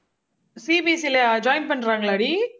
CBSE லயா join பண்றாங்களாடி